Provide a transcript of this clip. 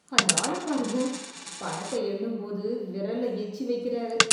அந்த ஆளப் பாருங்க. பணத்தை எண்ணும்போது விரல்ல எச்சி வைக்கிறாரு.